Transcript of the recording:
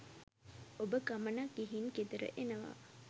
ඔබ ගමනක් ගිහින් ගෙදර එනවා